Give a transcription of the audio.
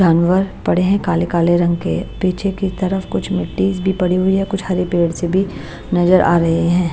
जानवर पड़े हैं काले-काले रंग के पीछे की तरफ कुछ मिट्टी भी पड़ी हुई है कुछ हरे पेड़ से भी नजर आ रही हैं।